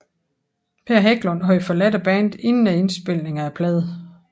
Per Hägglund havde forladt bandet inden indspilningen af pladen